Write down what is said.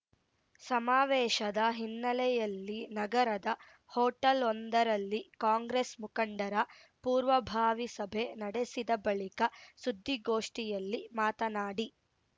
ಸಮಾವೇಶದ ಹಿನ್ನೆಲೆಯಲ್ಲಿ ನಗರದ ಹೋಟೆಲ್‌ವೊಂದರಲ್ಲಿ ಕಾಂಗ್ರೆಸ್‌ ಮುಖಂಡರ ಪೂರ್ವಭಾವಿ ಸಭೆ ನಡೆಸಿದ ಬಳಿಕ ಸುದ್ದಿಗೋಷ್ಠಿಯಲ್ಲಿ ಮಾತನಾಡಿ